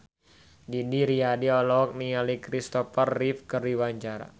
Didi Riyadi olohok ningali Christopher Reeve keur diwawancara